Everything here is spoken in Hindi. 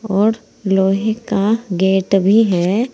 और लोहे का गेट भी है।